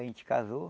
A gente casou.